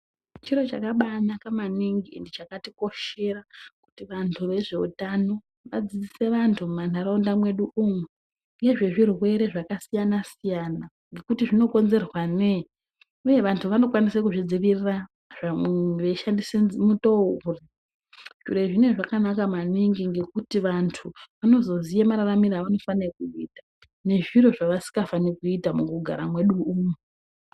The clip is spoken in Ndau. Chiro chakabainaka maningi chakatikoshara kuti vandu vazveutano vadzidzise vandu mukati mendaraunda medu ngezvechirwere zvakasiyana siyana ngekuti zvinokonzerwa nei uye vandu vanozvidzirira veshandisa mutoo uri zviro zvinenge zvakanaka maningi nekuti vandu vanozoziya mararamire avanofanira kuita nezviro zvavasinga fanire kuita mukugara mwedu umwu.